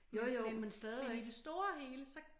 Jo jo men stadigvæk